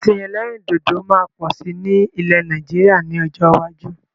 Ọtí ẹlẹ́rìndòdò máa pọ̀ sí ní ilẹ́ Nàìjíríà ni ọjọ́ iwájú